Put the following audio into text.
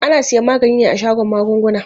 Ana siyan magani ne a shagon magunguna.